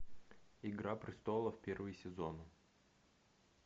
игра престолов первый сезон